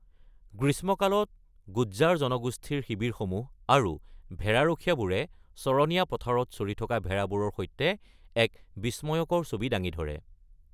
গ্ৰীষ্মকালত গুজ্জাৰ জনগোষ্ঠীৰ শিবিৰসমূহ আৰু ভেড়াৰখীয়াবোৰে চৰণীয়া পথাৰত চৰি থকা ভেড়াবোৰৰ সৈতে এক বিষ্ময়কৰ ছবি দাঙি ধৰে।